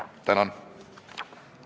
Tänan!